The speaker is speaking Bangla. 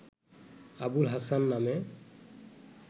আবুল হাসান নামে